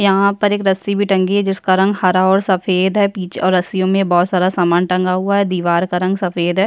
यहाँ पे एक रस्सी भी टंगी है जिसका रंग हरा और सफेद है पीछे और रस्सियों में बोहोत सारा सामान टंगा हुआ है दिवार का रंग सफ़ेद हैं।